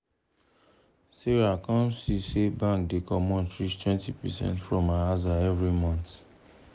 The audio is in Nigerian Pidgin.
sarah come see say bank da comot reach 20 percent from her aza every month